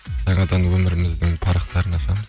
жаңадан өміріміздің парақтарын ашамыз